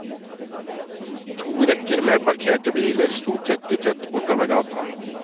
To rekker med parkerte biler sto tett i tett bortover gata.